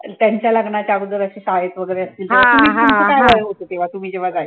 त्यांच्या लग्नाच्या अगोदर अशे शाळेत वैगेरे असतील तुम्ही तुमचं काय वय होतं तेव्हा तुम्ही जेव्हा